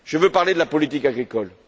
Je veux parler de la politique agricole.